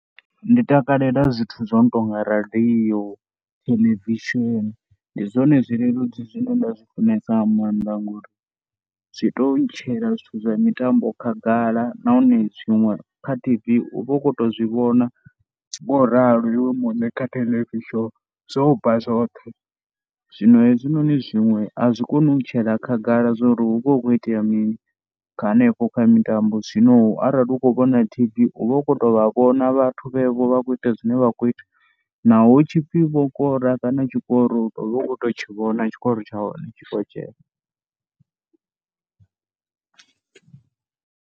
Ndi takalela zwithu zwo no tou nga radio, theḽevishini ndi zwone zwileludzi zwine nda zwi funesa nga maanḓa ngori zwi tou ntshela zwithu zwa mitambo khagala. Nahone zwiṅwe kha T_V u vha u khou tou zwi vhona ngoralo iwe muṋe kha theḽevishini zwo bva zwoṱhe. Zwino hezwinoni zwiṅwe a zwi koni u ntshela khagala zwo ri hu vha hu khou itea mini kha hanefho kha mitambo zwino arali u khou vhona T_V u vha u khou tou vha vhona vhathu vhevho vha khou ita zwine vha khou ita naho hu tshi pfhi vho kora kana tshikoro u vha u khou tou tshi vhona tshikoro tsha hone tshi khou dzhena.